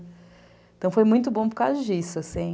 Então foi muito bom por causa disso, assim.